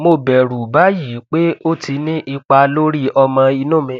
mo bẹrù báyìí pé ó ti ní ipa lórí ọmọ inú mi